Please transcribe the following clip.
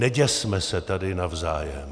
Neděsme se tady navzájem.